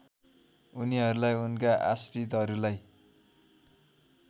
उनीहरूलाई उनका आश्रितहरूलाई